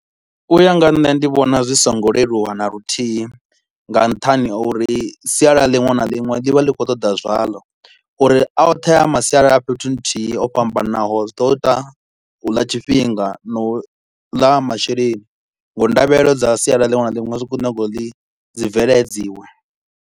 U ya nga nṋe ndi vhona zwi so ngo leluwa na luthihi nga nṱhani ha uri sialala ḽinwe na ḽinwe ḽi vha ḽi kho u ṱoḓa zwalo uri a othe a masialala a fhethu nthi o fhambanaho zwi ḓo ita u ḽa tshifhinga na u ḽa masheleni ngauri ndavhelelo dza sialala linwe na linwe zwi khou nyaga ḽi ḽi bveledziwe